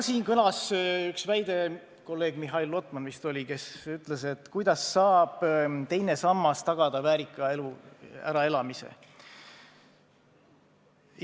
Siin kõlas üks väide – kolleeg Mihhail Lotman vist ütles seda –, et kuidas saab teine sammas tagada väärika elu, äraelamise.